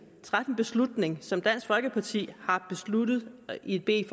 træffe en beslutning som dansk folkeparti har besluttet i et